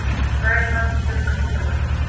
Þrælað fyrir hvíta manninn.